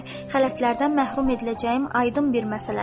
Xələtlərdən məhrum ediləcəyim aydın bir məsələdir.